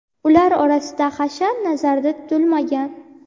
ular orasida hashar nazarda tutilmagan.